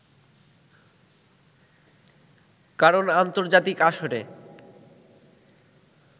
কারন আন্তর্জাতিক আসরে